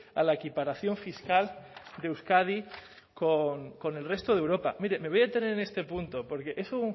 a la equiparación fiscal de euskadi con el resto de europa mire me voy a detener en este punto porque es un